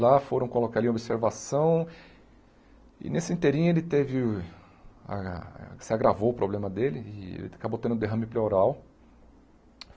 Lá foram colocar ali a observação e nesse ele teve... ah se agravou o problema dele e ele acabou tendo um derrame pleural.